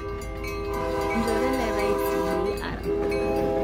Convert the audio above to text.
Nchore leraisi dei ara